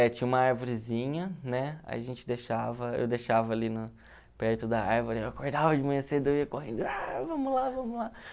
É, tinha uma arvorezinha, né, aí a gente deixava, eu deixava ali na perto da árvore, eu acordava de manhã cedo, eu ia correndo, vamos lá, vamos lá.